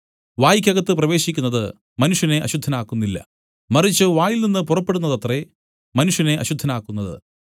വായ്ക്കകത്തു പ്രവേശിക്കുന്നത് മനുഷ്യനെ അശുദ്ധനാക്കുന്നില്ല മറിച്ച് വായിൽനിന്നു പുറപ്പെടുന്നതത്രേ മനുഷ്യനെ അശുദ്ധനാക്കുന്നത്